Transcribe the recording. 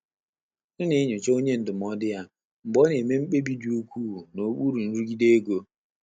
Ọ́ nà-ényóchá ọ́nyé ndụ́mọ́dụ́ yá mgbè ọ́ nà-émé mkpébí dị́ úkwúù n’ókpúrú nrụ́gídé égo.